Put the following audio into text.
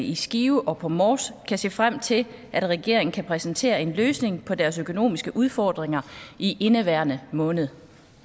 i skive og på mors kan se frem til at regeringen kan præsentere en løsning på deres økonomiske udfordringer i indeværende måned